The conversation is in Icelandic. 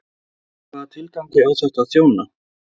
Hvaða tilgangi á þetta að þjóna?